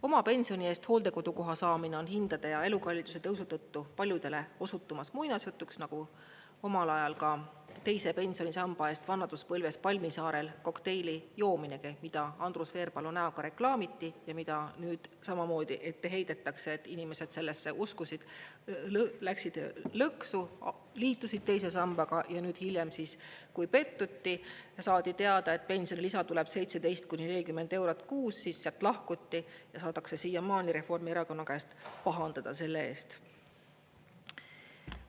Oma pensioni eest hooldekodukoha saamine on hindade ja elukalliduse tõusu tõttu paljudele osutumas muinasjutuks, nagu omal ajal ka teise pensionisamba eest vanaduspõlves palmisaarel kokteili joominegi, mida Andrus Veerpalu näoga reklaamiti ja mida nüüd samamoodi ette heidetakse, et inimesed sellesse uskusid, läksid lõksu, liitusid teise sambaga ja nüüd hiljem, kui pettuti, saadi teada, et pensionilisa tuleb 17 kuni 40 eurot kuus, siis sealt lahkuti ja saadakse siiamaani Reformierakonna käest pahandada selle eest.